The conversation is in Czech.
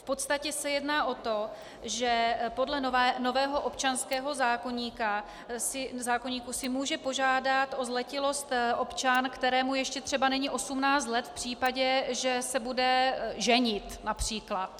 V podstatě se jedná o to, že podle nového občanského zákoníku si může požádat o zletilost občan, kterému ještě třeba není 18 let, v případě, že se bude ženit například.